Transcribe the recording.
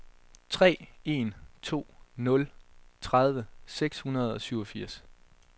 tre en to nul tredive seks hundrede og syvogfirs